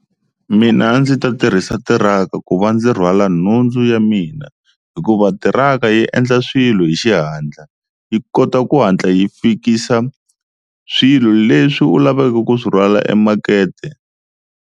Mina a ndzi ta tirhisa tiraka ku va ndzi rhwala nhundzu ya mina hikuva tiraka yi endla swilo hi xihatla yi kota ku hatla yi fikisa swilo leswi u lavaka ku swi rhwala emakete.